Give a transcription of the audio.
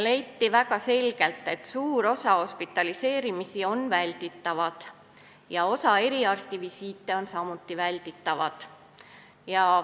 Leiti väga selgelt, et suur osa hospitaliseerimisi on välditavad ja osa eriarstivisiite samuti.